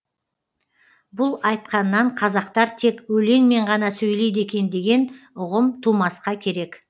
бұл айтқаннан қазақтар тек өлеңмен ғана сөйлейді екен деген ұғым тумасқа керек